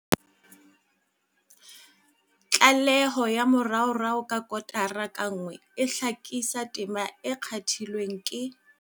Tlaleho ya moraorao ya kotara ka nngwe e hlakisa tema e kgathilweng ke.